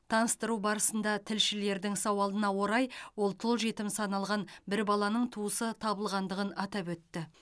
таныстыру барысында тілшілердің сауалына орай ол тұл жетім саналған бір баланың туысы табылғандығын атап өтті